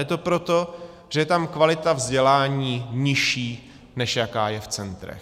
Je to proto, že je tam kvalita vzdělání nižší, než jaká je v centrech.